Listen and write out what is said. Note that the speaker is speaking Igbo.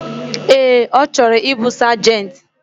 Ee, ochoro ibu Sergeant.